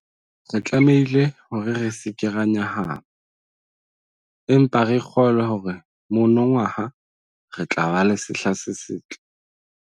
Re tlamehile hore re se ke ra nyahama, empa re kgolwe hore monongwaha re tla ba le sehla se setle.